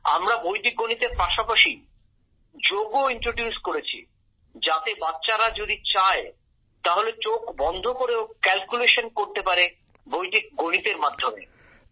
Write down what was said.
আমরা বৈদিক গণিতের পাশাপাশি যোগও শুরু করেছি যাতে বাচ্চারা যদি চায় তাহলে চোখ বন্ধ করেও হিসেব কষতে পারে বৈদিক গণিতের মাধ্যমে